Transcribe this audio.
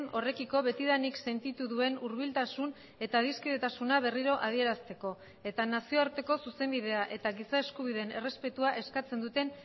horrekiko betidanik sentitu duen hurbiltasun eta adiskidetasuna berriro adierazteko eta nazioarteko zuzenbidea eta giza eskubideen errespetua eskatzen duten